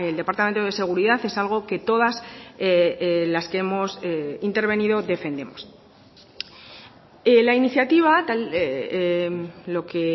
departamento de seguridad es algo que todas las que hemos intervenido defendemos la iniciativa lo que